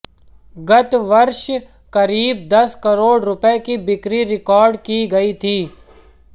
गत वर्ष करीब दस करोड़ रुपये की बिक्री रिकार्ड की गयी थी